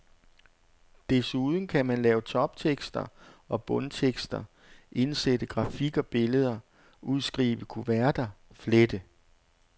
Desuden kan man lave toptekster og bundtekster, indsætte grafik og billeder, udskrive kuverter, flette.